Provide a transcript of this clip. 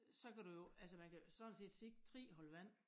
Så kan du jo altså man kan sådan set se 3 hold vand